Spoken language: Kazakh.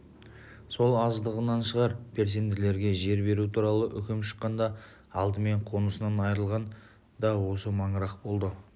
сол аздығынан шығар переселендерге жер беру туралы үкім шыққанда алдымен қонысынан айырылған да осы маңырақ болды